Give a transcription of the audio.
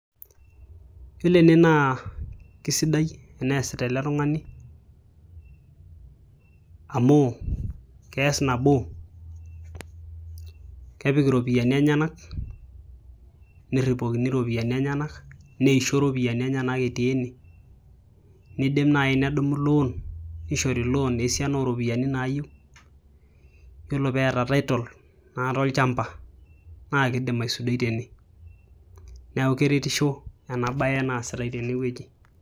Yiolo ene naa keisidai enaasita ele tung'ani amu keas nabo kepik iropiyiani enyanak neripokini iropiyiani enyanak neishio iropiyiani enyanak etii ene neidim naaji nedumo loan neishoro loan esiana ooropiyiani naayieu Yiolo peeta title naata olchamba naakeidim aisudoi tene neeku keretisho ena baye naasitai tenewueji.